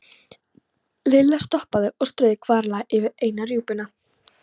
Lilla stoppaði og strauk varlega yfir eina rjúpuna.